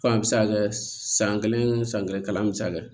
Fan bɛ se ka kɛ san kelen san kelen kalan bɛ se ka kɛ